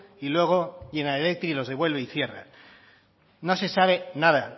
y luego general electric los devuelve y cierra no se sabe nada